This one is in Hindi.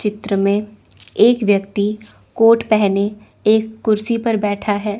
चित्र में एक व्यक्ति कोट पहने एक कुर्सी पर बैठा है।